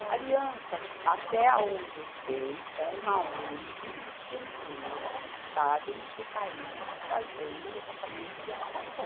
A Aliança, até aonde eu sei, é uma ongue estrangeira que está dentro do país fazendo o levantamento de habitação.